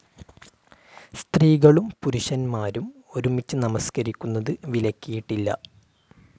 സ്ത്രീകളും പുരുഷന്മാരും ഒരുമിച്ച് നമസ്കരിക്കുന്നത് വിലക്കിയിട്ടില്ല.